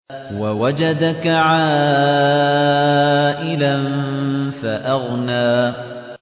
وَوَجَدَكَ عَائِلًا فَأَغْنَىٰ